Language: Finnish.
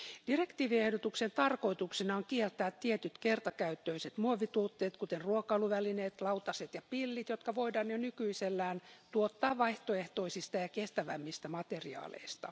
Direktiiviehdotuksen tarkoituksena on kieltää tietyt kertakäyttöiset muovituotteet, kuten ruokailuvälineet, lautaset ja pillit, jotka voidaan jo nykyisellään tuottaa vaihtoehtoisista ja kestävimmistä materiaaleista.